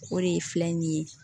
O de ye filɛ nin ye